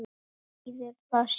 Hvað þýðir það síðan?